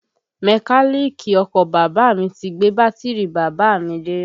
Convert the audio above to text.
Mẹ́káníìkì ọkọ bàbá à mi ti gbé bátìrì bàbá à mi dé